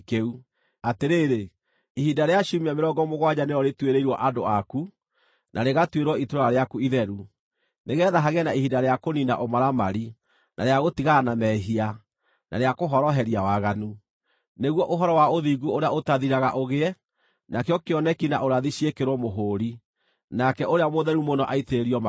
“Atĩrĩrĩ, ihinda rĩa ciumia mĩrongo mũgwanja nĩrĩo rĩtuĩrĩirwo andũ aku, na rĩgatuĩrwo itũũra rĩaku itheru, nĩgeetha hagĩe na ihinda rĩa kũniina ũmaramari, na rĩa gũtigana na mehia, na rĩa kũhooroheria waganu, nĩguo ũhoro wa ũthingu ũrĩa ũtathiraga ũgĩe, nakĩo kĩoneki na ũrathi ciĩkĩrwo mũhũũri, nake ũrĩa mũtheru mũno aitĩrĩrio maguta.